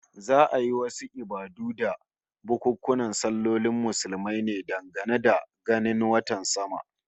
Za'a yi wasu ibadu da bukunkunan sallolin Muslumai ne dangane da ganin watan sama